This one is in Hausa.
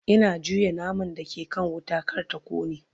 Ina juya naman da ke kan wuta kar ta kone